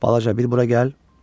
Balaca, bura gəl.